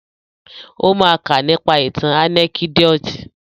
Ó ma ká nípa ìtàn ànẹ́kídòtì.